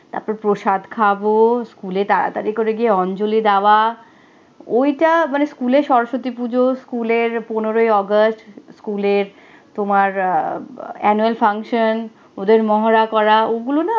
তারপরে প্রসাদ খাবো, স্কুলে তাড়াতাড়ি করে গিয়ে অঞ্জলি দেওয়া, ওইটা, মানে স্কুলে সরস্বতী পূজো, স্কুলের পনেরোই আগস্ট, স্কুলের তোমার আহ annual function ওদের মহড়া করা, ওগুলো না